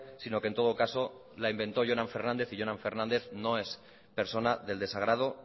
sino que en todo caso la inventó jonan fernández y jonan fernández no es persona del desagrado